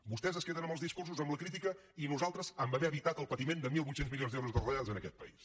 vostès es queden amb els discursos amb la crítica i nosaltres amb haver evitat el patiment de mil vuit cents milions d’euros de retallades en aquest país